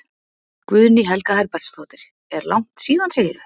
Guðný Helga Herbertsdóttir: Er langt síðan segirðu?